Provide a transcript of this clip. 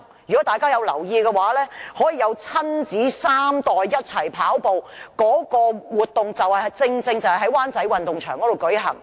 如果大家有留意，可供親子三代一同跑步的活動，正正是在灣仔運動場舉行。